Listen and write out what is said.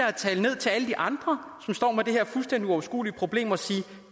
at tale ned til alle de andre som står med det her fuldstændig uoverskuelige problem at sige at